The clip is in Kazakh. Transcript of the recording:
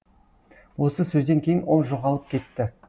осы сөзден кейін ол жоғалып кетті